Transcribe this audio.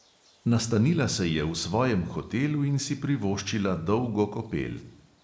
Nastanila se je v svojem hotelu in si privoščila dolgo kopel.